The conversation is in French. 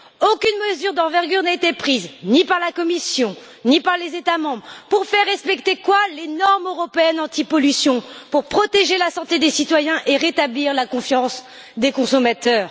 Aucune mesure d'envergure n'a été prise, ni par la Commission, ni par les États membres pour faire respecter les normes européennes antipollution, pour protéger la santé des citoyens et pour rétablir la confiance des consommateurs.